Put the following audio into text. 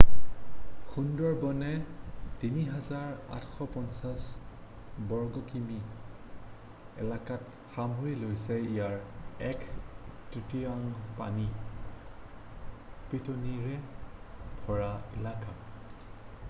সুন্দৰবনে ৩,৮৫০ বৰ্গকিমি এলেকাক সামৰি লৈছে ইয়াৰে এক-তৃতীয়াংশ পানী/পিতনিৰে ভৰা এলেকা।